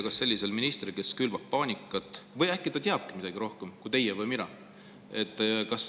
Kas sellisel ministril, kes külvab paanikat – või äkki ta teabki midagi rohkemat kui teie või mina?